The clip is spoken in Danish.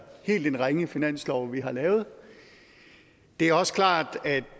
helt ringe finanslov vi har lavet det er også klart at